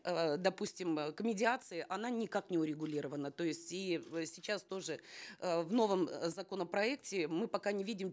э допустим э к медиации она никак не урегулирована то есть и в сейчас тоже э в новом законопроекте мы пока не видим